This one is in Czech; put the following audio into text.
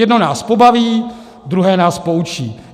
Jedno nás pobaví, druhé nás poučí.